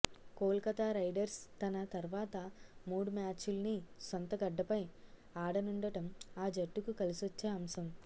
Kolkata Riders తన తర్వాత మూడు మ్యాచుల్ని సొంత గడ్డపై ఆడనుండటం ఆ జట్టుకు కలిసొచ్చే అంశం